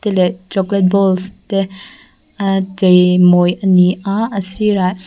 te leh chocolate balls te ah cheimawi ani a a sirah--